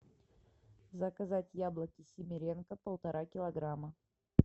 заказать яблоки симиренко полтора килограмма